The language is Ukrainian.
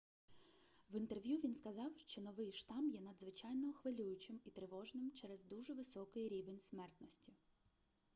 в інтерв'ю він сказав що новий штам є надзвичайно хвилюючим і тривожним через дуже високий рівень смертності